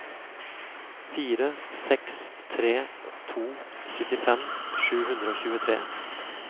fire seks tre to syttifem sju hundre og tjuetre